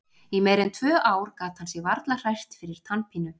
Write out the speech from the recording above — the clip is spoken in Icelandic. Í meira en tvö ár gat hann sig varla hrært fyrir tannpínu.